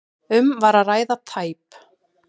Um var að ræða tæp